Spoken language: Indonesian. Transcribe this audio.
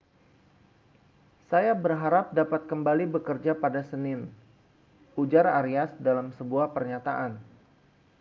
saya berharap dapat kembali bekerja pada senin ujar arias dalam sebuah pernyataan